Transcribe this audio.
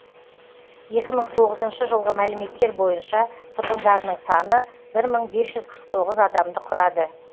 екі мың тоғызыншы жылғы мәліметтер бойынша тұрғындарының саны бір мың бес жүз қырық тоғыз адамды құрады